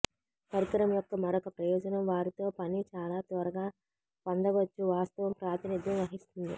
పరికరం యొక్క మరొక ప్రయోజనం వారితో పని చాలా త్వరగా పొందవచ్చు వాస్తవం ప్రాతినిధ్యం వహిస్తుంది